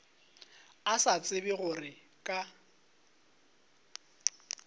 a sa tsebe gore ka